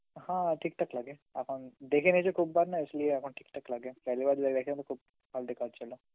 হা ঠিকঠাক লাগে এখন দেখেনিয়েছি খুব বার না Hindi এখন ঠিকঠাক লাগে, Hindi তো খুব